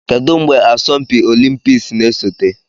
Kedu mgbe asọmpi olimpiks na-esote?